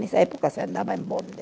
Nessa época se andava em bonde.